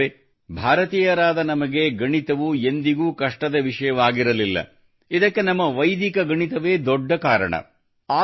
ಸ್ನೇಹಿತರೇ ಭಾರತೀಯರಾದ ನಮಗೆ ಗಣಿತವು ಎಂದಿಗೂ ಕಷ್ಟದ ವಿಷಯವಾಗಿರಲಿಲ್ಲ ಇದಕ್ಕೆ ನಮ್ಮ ವೈದಿಕ ಗಣಿತವೇ ದೊಡ್ಡ ಕಾರಣ